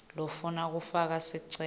lofuna kufaka sicelo